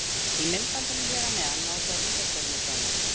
Í myndbandinu hér að neðan má sjá vítaspyrnudóminn.